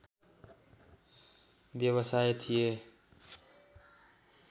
व्यवसाय थिए